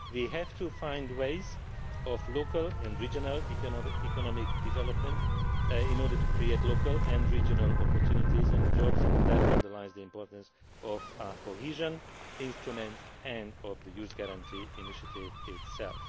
We have to find ways of local and regional economic development, in order to create local and regional opportunities and jobs. This underlines the importance of our cohesion instruments and of the Youth Guarantee Initiative itself.